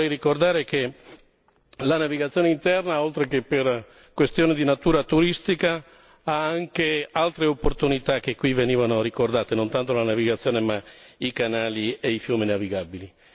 Però io vorrei ricordare che la navigazione interna, oltre che per questioni di natura turistica, ha anche altre opportunità che qui venivano ricordate, non tanto la navigazione, ma i canali e i fiumi navigabili.